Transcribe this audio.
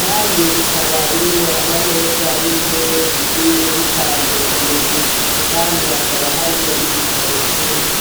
kandi ikaba irimwo ama meza n'intebe bigiye bipanze ku mirwi. Kandi hakaba harimwo n'ibitabo vyinshi.